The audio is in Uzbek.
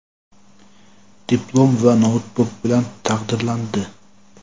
diplom va noutbuk bilan taqdirlandi!.